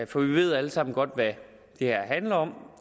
for vi ved alle sammen godt hvad det her handler om